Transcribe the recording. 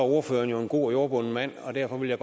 ordføreren jo en god og jordbunden mand og derfor vil jeg